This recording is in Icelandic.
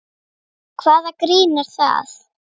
Hvaða grín er það?